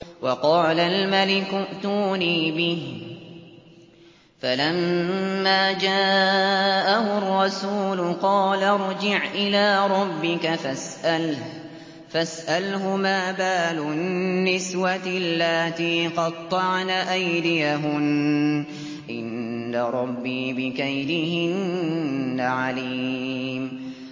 وَقَالَ الْمَلِكُ ائْتُونِي بِهِ ۖ فَلَمَّا جَاءَهُ الرَّسُولُ قَالَ ارْجِعْ إِلَىٰ رَبِّكَ فَاسْأَلْهُ مَا بَالُ النِّسْوَةِ اللَّاتِي قَطَّعْنَ أَيْدِيَهُنَّ ۚ إِنَّ رَبِّي بِكَيْدِهِنَّ عَلِيمٌ